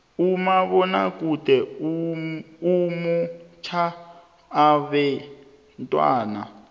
umabonakude umotjha abentwana